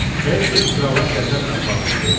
Herseq krala qəzəblə baxıb dedi: